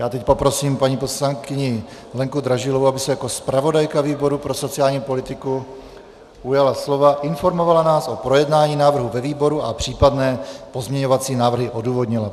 Já teď poprosím paní poslankyni Lenku Dražilovou, aby se jako zpravodajka výboru pro sociální politiku ujala slova, informovala nás o projednání návrhu ve výboru a případné pozměňovací návrhy odůvodnila.